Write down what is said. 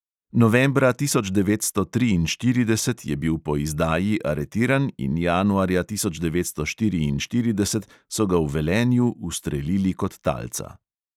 Novembra tisoč devetsto triinštirideset je bil po izdaji aretiran in januarja tisoč devetsto štiriinštirideset so ga v velenju ustrelili kot talca.